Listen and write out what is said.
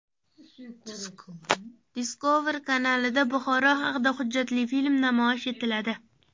Discovery kanalida Buxoro haqida hujjatli film namoyish etiladi.